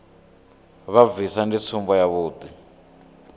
vha bvisa ndi tsumbo yavhuḓi